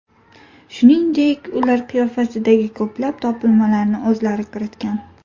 Shuningdek, ular qiyofasidagi ko‘plab topilmalarni o‘zlari kiritgan.